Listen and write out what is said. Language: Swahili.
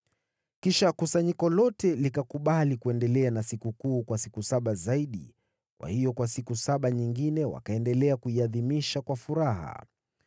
Kisha kusanyiko lote likakubali kuendelea na sikukuu kwa siku saba zaidi, kwa hiyo kwa siku saba nyingine wakaendelea kuiadhimisha kwa furaha.